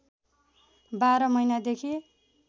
बाह्र महिनादेखि